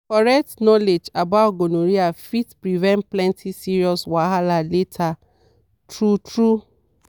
correct knowledge about gonorrhea fit prevent plenty serious wahala later true true.